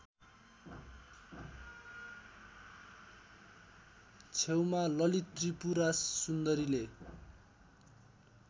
छेउमा ललितत्रिपुरासुन्दरीले